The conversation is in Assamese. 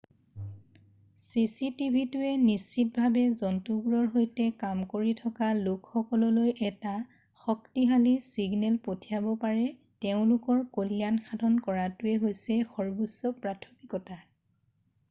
"""চিচিটিভিটোৱে নিশ্চিতভাৱে জন্তুবোৰৰ সৈতে কাম কৰি থকা লোকসকললৈ এটা শক্তিশালী ছিগনেল পঠিয়াব যে তেওঁলোকৰ কল্যাণ সাধন কৰাটোৱে হৈছে সৰ্বোচ্চ প্ৰাথমিকতা।""